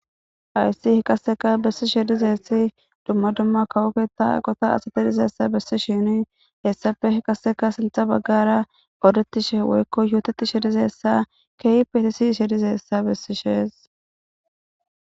ayssi hi kasseka bessi shedize essi dumma dumma kawoketa gota asate dizessa bessi shini hessafe hi kaseka sintha baggara odetishe woykko yootetishe dizessa keyipetisi shedizeessa bessi shees